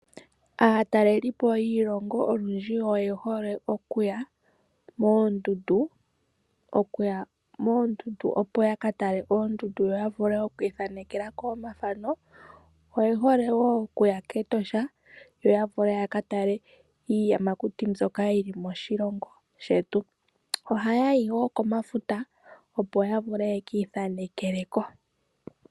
Aatalelipo yiilongo olundji oye hole okuya moondundu opo ya ka tale oondundu yo ya vule oku ithanekela ko omathano. Oye hole wo oku ya kEtoshao ya vule ya ka tale iiyamakuti mbyoka yi li moshilongo shetu. Ohaya yi wo komafuta opo ya vule ya ka ithanekele ko.